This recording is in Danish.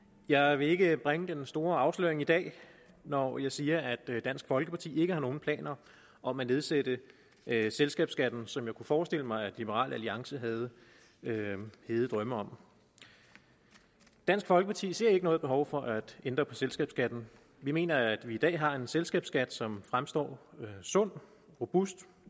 jeg vil ikke bringe den store afsløring i dag når jeg siger at dansk folkeparti ikke har nogen planer om at nedsætte selskabsskatten som jeg kunne forestille mig liberal alliance havde hede drømme om dansk folkeparti ser ikke noget behov for at ændre på selskabsskatten vi mener at vi i dag har en selskabsskat som fremstår sund robust